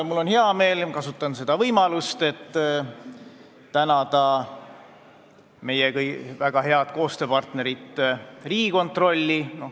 Mul on hea meel ja ma kasutan seda võimalust, et tänada meie väga head koostööpartnerit Riigikontrolli.